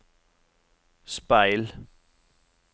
speil